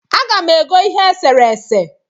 Aga m ego ihe eserese